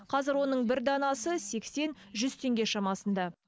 қазір оның бір данасы сексен жүз теңге шамасында